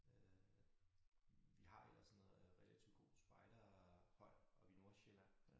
Øh vi har ellers noget relativt god spejderhold oppe i Nordsjælland